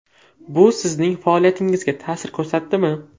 Bu sizning faoliyatingizga ta’sir ko‘rsatdimi?